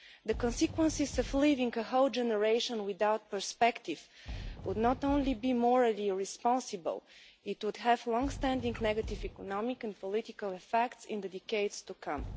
The consequences of leaving a whole generation without prospects would not only be morally irresponsible, but would have long-standing negative economic and political effects in the decades to come.